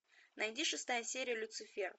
найди шестая серия люцифер